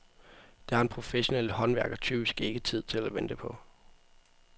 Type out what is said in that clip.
Det har den professionelle håndværker typisk ikke tid til at vente på.